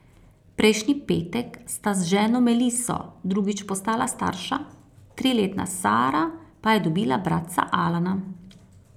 Prejšnji petek sta z ženo Meliso drugič postala starša, triletna Sara pa je dobila bratca Alana.